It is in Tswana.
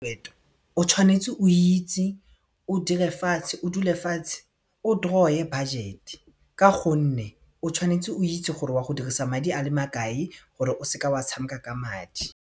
o tshwanetse o itse o dule fatshe o draw-e budget-e ka gonne o tshwanetse o itse gore wa go dirisa madi a le makae gore o seka wa tshameka ka madi.